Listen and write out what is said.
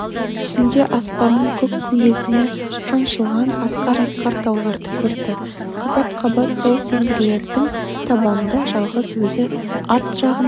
түсінде аспанның көк күмбезіне шаншылған асқар-асқар тауларды көрді қабат-қабат сол сеңгірлердің табанында жалғыз өзі арт жағына